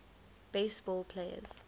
base ball players